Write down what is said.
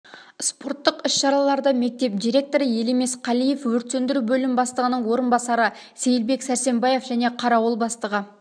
спорттық іс-шараларда мектеп директоры елемес қалиев өрт сөндіру бөлім бастығының орынбасары сейілбек сәрсенбаев және қарауыл бастығы